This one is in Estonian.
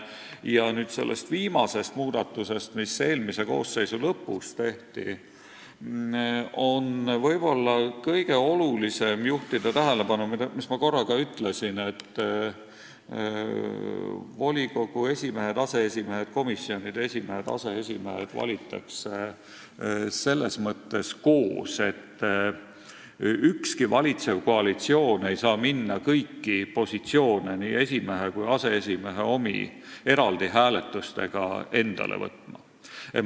Ja sellest viimasest muudatusest rääkides, mis eelmise koosseisu lõpus tehti, on võib-olla kõige olulisem juhtida tähelepanu sellele, mida ma korra ka ütlesin, et volikogu esimehed ja aseesimehed ning komisjonide esimehed ja aseesimehed valitakse koos, nii et valitsev koalitsioon ei saa minna kõiki positsioone, nii esimeeste kui ka aseesimeeste omi, eraldi hääletustega endale võtma.